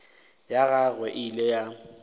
ya gagwe e ile ya